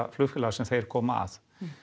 flugfélaga sem þeir koma að